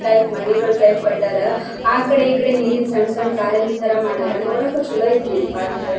Type ಮನೆಗಳು type ಕಟ್ಟಾರ ಆಕಡೆ ಈಕಡೆ ನೀರಿನ್ ಸಣ್ಣ ಸಣ್ಣ ಕಾರಂಜಿ ತರ ಮಾಡರ ನೋಡಕ್ಕೆ ಚಲೋ ಐತೇರಿ ಈ ಪಾರ್ಕ್ .